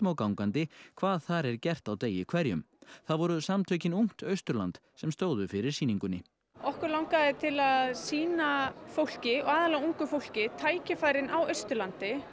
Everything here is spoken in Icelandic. gangandi hvað þar er gert á degi hverjum það voru Samtökin ungt Austurland sem stóðu fyrir sýningunni okkur langaði til að sýna fólki og aðallega ungu fólki tækifærin á Austurlandi